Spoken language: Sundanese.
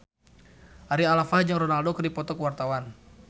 Ari Alfalah jeung Ronaldo keur dipoto ku wartawan